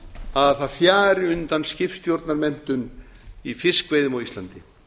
að það fjari undan skipstjórnarmenntun í fiskveiðum á íslandi